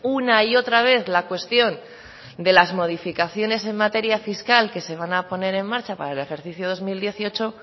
una y otra vez la cuestión de las modificaciones en materia fiscal que se van a poner en marcha para el ejercicio dos mil dieciocho